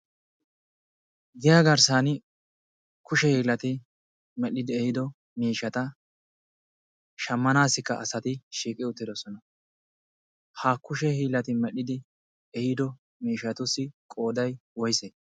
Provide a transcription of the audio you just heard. giya garssan kushe hiilati medhdhidi ehido miishata shammanaassikka asati shiiqi uttidosona. ha kushe hiilati medhdhidi ehiido miishatussi qooday woyse?